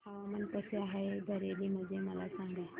हवामान कसे आहे बरेली मध्ये मला सांगा